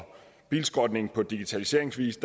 bilskrotning på digitaliseringsvis